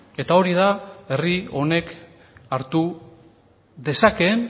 eta hori da herri honek hartu dezakeen